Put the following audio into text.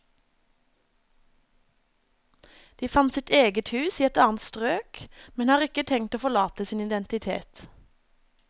De fant sitt eget hus i et annet strøk, men har ikke tenkt å forlate sin identitet.